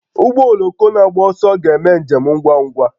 Ụgbọ oloko na-agba ọsọ ga-eme njem ngwa ngwa